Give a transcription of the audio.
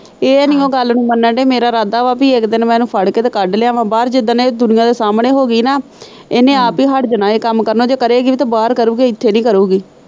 ਇਹ ਨਹੀਂ ਓ ਗੱਲ ਨੂੰ ਮੰਨਣ ਦੇ ਮੇਰਾ ਰਾਦਾ ਵਾ ਕਿ ਇੱਕ ਦਿਨ ਮੈਂ ਇੰਨੂ ਫੜ ਕੇ ਤੇ ਕੱਢ ਲਿਆਂਵਾ ਬਾਹਰ, ਜਿ੍ਰਦਣ ਇਹ ਦੁਨੀਆ ਦੇ ਸਾਹਮਣੇ ਹੋਗੀ ਨਾ ਇੰਨੇ ਆਪ ਹੀ ਹੱਟ ਜਾਣਾ ਇਹ ਕੰਮ ਕਰਨੇ ਜੇ ਕਰੇਗੀ ਵੀ ਤਾਂ ਬਾਹਰ ਹੀ ਕਰੂੰਗੀ, ਇੱਥੇ ਨੀ ਕਰੂੰਗੀ।